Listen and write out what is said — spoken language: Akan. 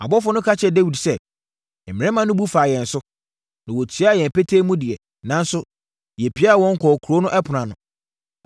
Abɔfoɔ no ka kyerɛɛ Dawid sɛ, “Mmarima no bu faa yɛn so, na wɔtiaa yɛn petee mu deɛ, nanso yɛpiaa wɔn kɔɔ kuro no ɛpono ano.